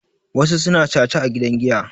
wasu suna caca a gidan giya